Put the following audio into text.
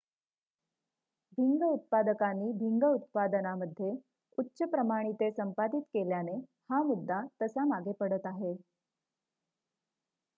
भिंग उत्पादकांनी भिंग उत्पादनामध्ये उच्च प्रमाणिते संपादित केल्याने हा मुद्दा तसा मागे पडत आहे